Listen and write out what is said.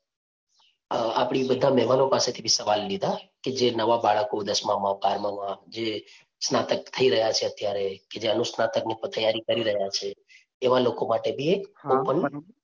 અ આપણી બધા મહેમાનો પાસેથી બી સવાલ લીધા કે જે નવા બાળકો દસમાં માં, બારમાં માં જે સ્નાતક થઈ રહ્યા છે અત્યારે કે જે અનુસ્નાતક ની તૈયારી કરી રહ્યા છે એવા લોકો માટે બી એક open